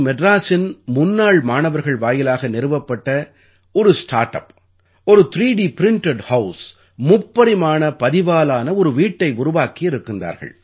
மெட்ராசின் முன்னாள் மாணவர்கள் வாயிலாக நிறுவப்பட்ட ஒரு ஸ்டார்ட் அப் ஒரு 3 ட் பிரின்டட் ஹவுஸ் முப்பரிமாண பதிவாலான ஒரு வீட்டை உருவாக்கி இருக்கின்றார்கள்